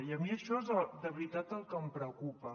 i a mi això és de veritat el que em preocupa